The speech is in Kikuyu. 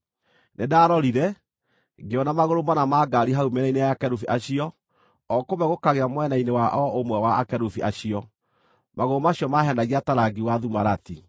Nĩndarorire, ngĩona magũrũ mana ma ngaari hau mĩena-inĩ ya akerubi acio, o kũmwe gũkagĩa mwena-inĩ wa o ũmwe wa akerubi acio; magũrũ macio maahenagia ta rangi wa thumarati.